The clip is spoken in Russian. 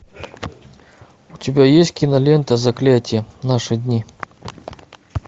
у тебя есть кинолента заклятие наши дни